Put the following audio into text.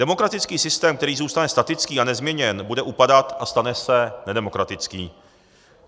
Demokratický systém, který zůstane statický a nezměněný, bude upadat a stane se nedemokratickým.